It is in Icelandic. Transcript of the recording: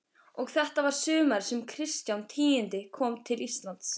Og þetta var sumarið sem Kristján tíundi kom til Íslands.